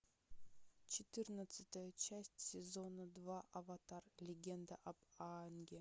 четырнадцатая часть сезона два аватар легенда об аанге